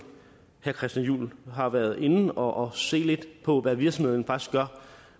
herre christian juhl har været inde og se på hvad virksomheden faktisk gør